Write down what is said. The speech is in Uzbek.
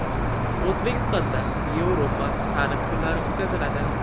O‘zbekistonda Yevropa ta’limi kunlari o‘tkaziladi.